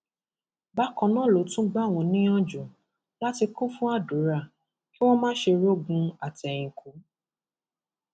bákan náà ló tún gbà wọn níyànjú láti kún fún àdúrà kí wọn má ṣe rọgún àtẹyìnkù